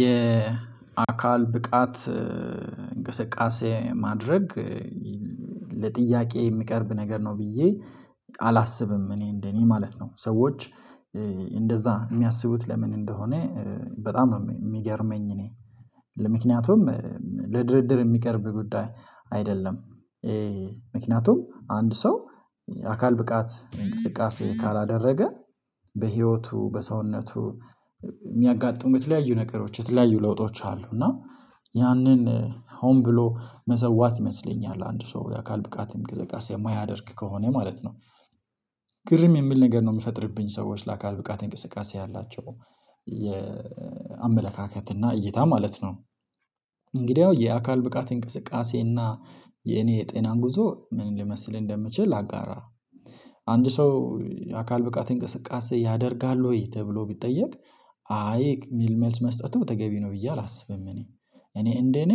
የአካል ብቃት እንቅስቃሴ ማድረግ ለጥያቄ የሚቀርብ ነገር ነው። ብዬ አላስብም። እኔ እንደኔ ማለት ነው። ሰዎች እንደዛ የሚያስቡት ለምን እንደሆነ? በጣም ነው የሚገርመኝ እኔ ለምክንያቱም ለድርድር የሚቀርብ ጉዳይ አይደለም። ምክንያቱም አንድ ሰው አካል ብቃት እንቅስቃሴ ካላደረገ በህይወቱ በሰውነቱ የሚያጋጥሙት የተለያዩ ነገሮች የተለያዩ ለውጦች አሉ። እና ያንን ሆን ብሎ መሰዋት ይመስለኛል። አንድ ሰው የአካል ብቃት እንቅስቃሴ የማያደርግ ከሆነ ማለት ነው። ግርም የሚል ነገር ነው የሚፈጥርብኝ። ሰዎች ለአካል ብቃት እንቅስቃሴ ያላቸው የአመለካከት እና እይታ ማለት ነው። እንግዲያው የአካል ብቃት እንቅስቃሴ እና የእኔ የጤና ጉዞ ምን ሊመስል እንደሚችል ላጋራ። አንድ ሰው አካል ብቃት እንቅስቃሴ ያደርጋል ወይ ተብሎ ቢጠየቅ? አይ የሚል መልስ መስጠቱ ተገቢ ነው ብዬ አላስብም። እኔ እኔ እንደኔ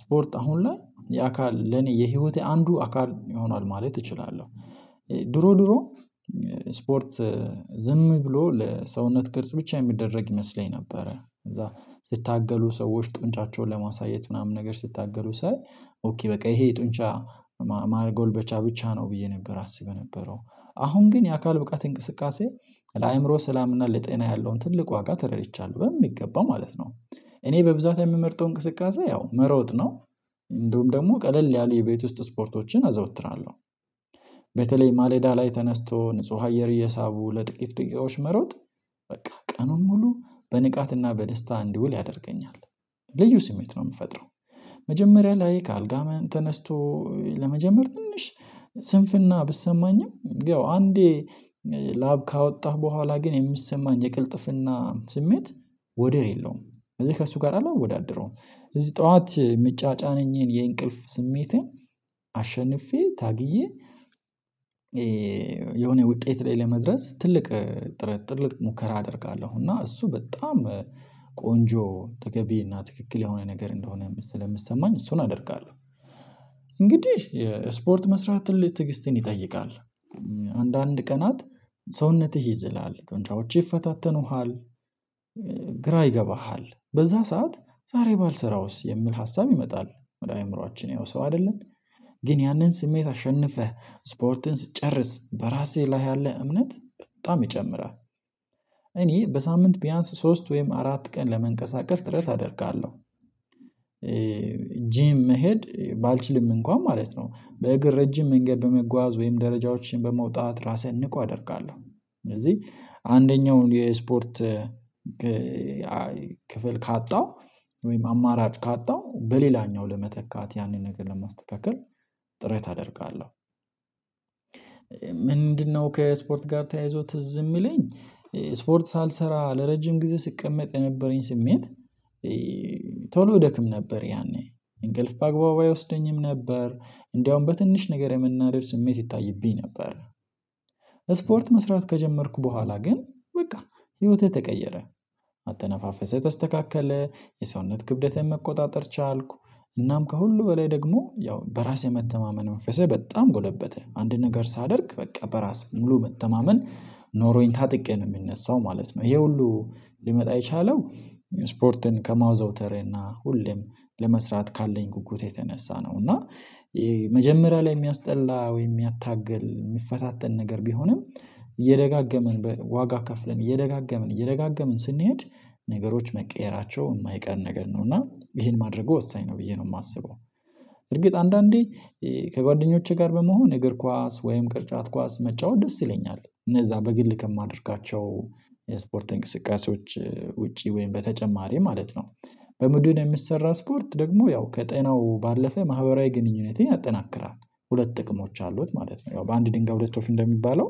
ስፖርት አሁን ላይ የአካል ለኔ የህይወቴ አንዱ አካል ይሆናል ማለት እችላለሁ። ድሮ ድሮ ስፖርት ዝም ብሎ ለሰውነት ቅርጽ ብቻ የሚደረግ ይመስለኝ ነበረ። ከዛ ሲታገሉ ሰዎች ጡንቻቸውን ለማሳየት ምናምን ነገር ሲታገሉ ሳይ ኦኬ በቃ ይሄ ጡንቻ ማጎልበቻ ብቻ ነው ብዬ ነበር አስብ የነበረው። አሁን ግን የአካል ብቃት እንቅስቃሴ ለአእምሮ ሠላምና ለጤና ያለውን ትልቅ ዋጋ ተረድቻለሁ በሚገባ ማለት ነው። እኔ በብዛት የምመርጠው እንቅስቃሴ ያው መሮጥ ነው። እንደውም ደግሞ ቀለል ያሉ የቤት ውስጥ ስፖርቶችን አዘዎትራለሁ። በተለይ ማለዳ ላይ ተነስቶ ንጹህ አየር እየሳቡ ለጥቂት ደቂቃዎች መሮጥ በቃ ቀኑን ሙሉ በንቃትና በደስታ እንድውል ያደርገኛል። ልዩ ስሜት ነው የሚፈጥረው። መጀመሪያ ላይ ከአልጋ ተነስቶ ለመጀመር ትንሽ ስንፍና ቢሰማኝም ያው አንዴ ላብ ካወጣህ በኋላ ግን የሚሰማኝ የቅልጥፍና ስሜት ወደር የለውም። ስለዚህ ከእሱ ጋር አላወዳድረውም። እዚህ ጠዋት የሚጫጫነኝን የእንቅልፍ ስሜትን አሸንፌ ታግዬ። የሆነ ውጤት ላይ ለመድረስ ትልቅ ጥርትልቅ ሙከራ አደርጋለሁ እና እሱ በጣም ቆንጆ ተገቢ እና ትክክል የሆነ ነገር እንደሆነ ስለሚሰማኝ እሱን አደርጋለሁ። እንግዲህ የስፖርት መስራት ትልቅ ትዕግስትን ይጠይቃል። አንዳንድ ቀናት ሰውነትህ ይዝላል ጡንቻዎችህ ይፈታተኑሃል። ግራ ይገባሃል በዛ ሰዓት ዛሬ ባልሠራውስ የሚል ሀሳብ ይመጣል። ወደ አእምሮአችን ያው ሰው አይደለም። ግን ያንን ስሜት አሸንፈህ ስፖርትን ስትጨርስ በራስህ ላይ ያለህ እምነት በጣም ይጨምራል። እኔ በሳምንት ቢያንስ ሶስት ወይም አራት ቀን ለመንቀሳቀስ ጥረት አደርጋለሁ። ጂም መሄድ ባልችልም እንኳን ማለት ነው በእግር ረጅም መንገድ በመጓዝ ወይም ደረጃዎችን በመውጣት ራሴን ንቁ አደርጋለሁ። ስለዚህ አንደኛውን የስፖርት ክ ክፍል ካጣው ወይም አማራጭ ካጣው በሌላኛው ለመተካት ያንን ነገር ለማስተካከል ጥረት አደርጋለሁ። ምንድንነው? ከስፖርት ጋር ተያይዞ ትዝ ይየሚለን ስፖርት ሳልሰራ ለረጅም ጊዜ ስቀመጥ የነበረኝ ስሜት። ቶሎ እደክም ነበር ያኔ እንቅልፍ በአግባቡ አይወስደኝም ነበር። እንደውም በትንሽ ነገር የመናደድ ስሜት ይታይብኝ ነበር። ስፖርት መስራት ከጀመርኩ በኋላ ግን በቃ ህይወቴ ተቀየረ። አተነፋፈሴ ተስተካከለ የሰውነት ክብደቴን መቆጣጠር ቻልኩ። እናም ከሁሉ በላይ ደግሞ ያው በራሴ የመተማመን መንፈሴ በጣም ጎለበተ አንድ ነገር ሳደርግ በቃ በራስ ሙሉ መተማመን ኖሮኝ ታጥቄ ነው የምነሳው ማለት ነው። ይሄ ሁሉ ሊመጣ የቻለው ስፖርትን ከማውዘውተሬ እና ሁሌም ለመስራት ካለኝ ጉጉት የተነሳ ነው። እና መጀመሪያ ላይ የሚያስጠላ ወይም የሚያታግል የሚፈታተን ነገር ቢሆንም እየደጋገምን በ ዋጋ ከፍለን እየደጋገምን እየደጋገምን ስንሄድ ነገሮች መቀየራቸው የማይቀር ነገር ነው እና ይሄን ማድረጉ ወሳኝ ነው ብዬ ነው የማስበው። እርግጥ አንዳንዴ ከጓደኞቼ ጋር በመሆን እግር ኳስ ወይም ቅርጫት ኳስ መጫወት ደስ ይለኛል። እነዛ በግል ከማደርጋቸው የስፖርት እንቅስቃሴዎች ውጪ ወይም በተጨማሪ ማለት ነው። በቡድን የሚሰራ ስፖርት ደግሞ ያው ከጤናው ባለፈ ማህበራዊ ግንኙነትን ያጠናክራል። ሁለት ጥቅሞች አሉት ማለት ነው ያው በአንድ ድንጋይ ሁለት ወፍ እንደሚባለው።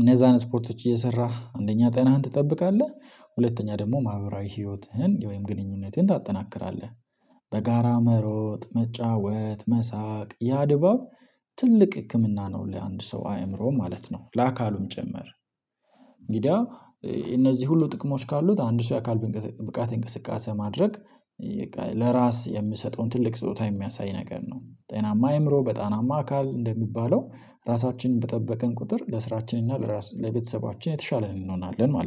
እነዛን ስፖርቶች እየሠራህ አንደኛ ጤናህን ትጠብቃለህ። ሁለተኛ ደግሞ ማህበራዊ ህይወትህን ወይም ግንኙነትህን ታጠናክራለህ። በጋራ መሮጥ መጫወት መሳቅ ያ ድባብ ትልቅ ህክምና ነው ለአንድ ሰው አእምሮ ማለት ነው ለአካሉም ጭምር። እንግዲያ እነዚህ ሁሉ ጥቅሞች ካሉት አንድ ሰው የአካል ብእንቅ ብቃት እንቅስቃሴ ማድረግ ይቀል ለራስ የሚሰጠውን ትልቅ ስጦታ የሚያሳይ ነገር ነው። ጤናማ አእምሮ በጤናማ አካል እንደሚባለው። ራሳችንን በጠበቀን ቁጥር ለሥራችን እና ለራስ ለቤተሰባችን የተሻለን እንሆናለን ማለት ነው